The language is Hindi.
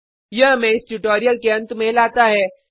यह हमें इस ट्यूटोरियल के अंत में लाता है